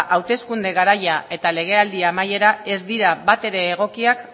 hauteskunde garaia eta legealdi amaiera ez dira bat ere egokiak